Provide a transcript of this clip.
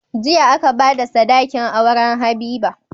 Jiya aka bada sadakin auren habiba